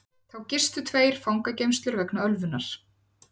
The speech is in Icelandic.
Þá gistu tveir fangageymslur vegna ölvunar